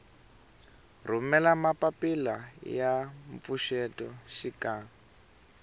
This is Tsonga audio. rhumela mapapila ya mpfuxeto xikan